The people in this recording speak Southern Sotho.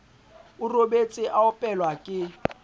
o robetse a opelwa ke